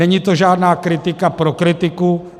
Není to žádná kritika pro kritiku.